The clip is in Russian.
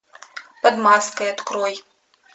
под маской открой